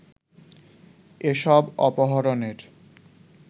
এ সব অপহরণের